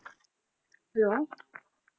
Hello